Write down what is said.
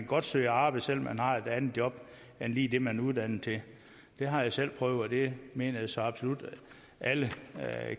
godt søge arbejde selv om man har et andet job end lige det man er uddannet til det har jeg selv prøvet og det mener jeg så absolut alle